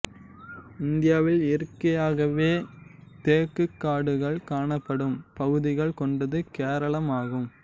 இந்தியாவில் இயற்கையாகவே தேக்குக் காடுகள் காணப்படும் பகுதிகள் கொண்டது கேரளம் ஆகும்